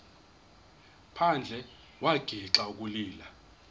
phandle wagixa ukulila